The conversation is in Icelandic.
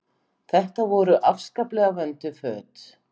Þetta voru afskaplega vönduð föt.